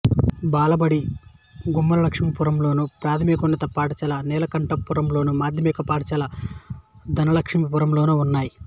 బాలబడి గుమ్మలక్ష్మీపురంలోను ప్రాథమికోన్నత పాఠశాల నీలకంఠపురంలోను మాధ్యమిక పాఠశాల ధనలక్ష్మీపురంలోనూ ఉన్నాయి